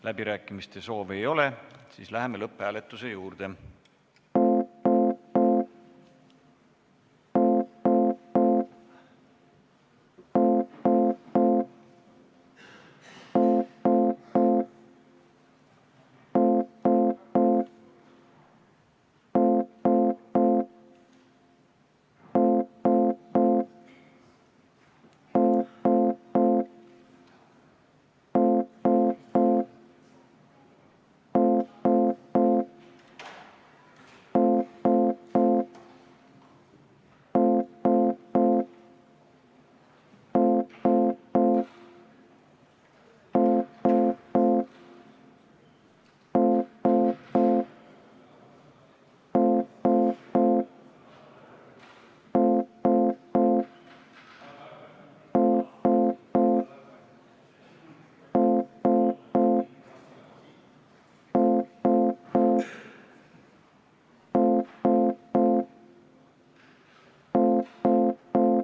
Läbirääkimiste soovi ei ole, läheme lõpphääletuse juurde.